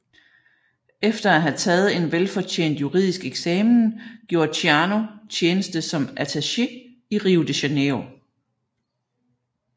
Efter at have taget en velfortjent juridisk eksamen gjorde Ciano tjeneste som attaché i Rio de Janeiro